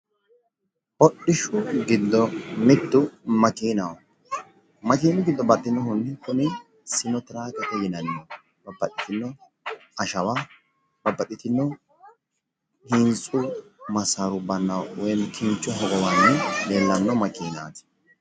Hodhishshu giddo mittu makiinaho. Makiinu giddo baxxinohunni kuni sinotiraakke yinanni. babbaxino ashawa, babbaxino hintsu massarubbanna woyim kincho hogowanni leellanno makeennaati.